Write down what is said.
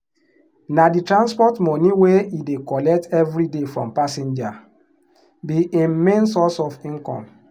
na the transport money wey he dey collect every day from passenger be him main source of income.